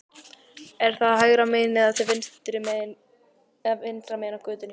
Er það hægra megin eða vinstra megin í götunni?